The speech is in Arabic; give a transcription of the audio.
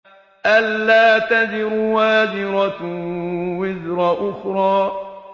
أَلَّا تَزِرُ وَازِرَةٌ وِزْرَ أُخْرَىٰ